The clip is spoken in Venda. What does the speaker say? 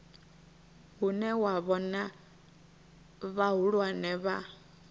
hune wa vhona vhahulwane vha